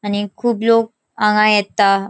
आणि खूब लोक हांगा येता.